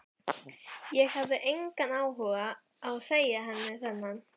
Ég hafði engan áhuga á að segja henni þennan.